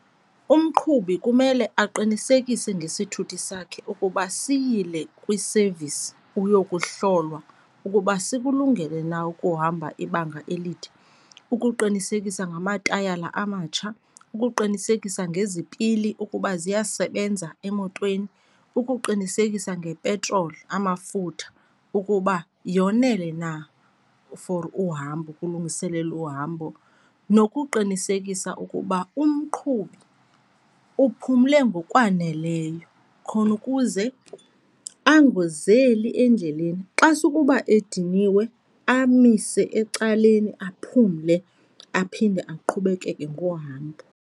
Umqhubi kumele aqinisekise ngesithuthi sakhe ukuba siyile kwi-service uyokuhlolwa ukuba sikulungele na ukuhamba ibanga elide. Ukuqinisekisa namatayara amatsha, ukuqinisekisa ngezipili ukuba ziyasebenza emotweni, ukuqinisekisa ngepetroli, amafutha, ukuba yonele na for uhambo, kulungiselelwa uhambo. Nokuqinisekisa ukuba umqhubi uphumle ngokwaneleyo khona ukuze angozeli endleleni. Xa sukuba ediniwe amise ecaleni aphumle, aphinde aqhubekeke ngohambo.